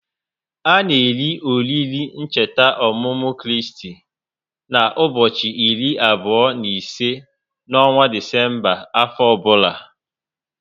A na eri oriri ncheta ọmụmụ Kristi na ubochi iri abụo n'ise n'ọnwa Disemba afọ ọbula